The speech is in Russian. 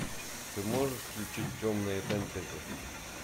ты можешь включить темные фэнтези